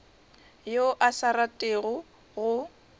yo a sa ratego go